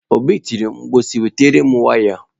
Obi tiri mkpu si, wetara m waya!